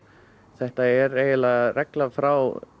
þetta er eiginlega regla frá